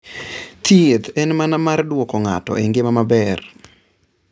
Thieth en mana mar duoko ng'ato e ngima maber.